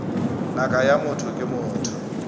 ngaka ya motho ke motho